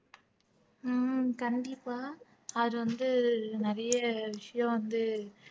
உம் கண்டிப்பா அது வந்து நிறைய விஷயம் வந்து